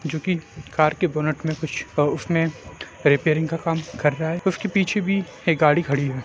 जोकि कार के बोनट पे कुछ उसमें रिपेयरिंग का काम कर रहा है उसके पीछे भी एक गाड़ी खड़ी है।